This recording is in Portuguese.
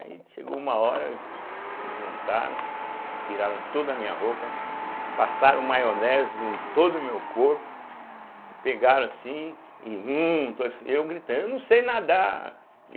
Aí chegou uma hora, eles se juntaram, tiraram toda a minha roupa, passaram maionese em todo o meu corpo, me pegaram assim, e um, dois, eu gritando, eu não sei nadar.